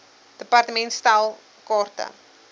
department stel kaarte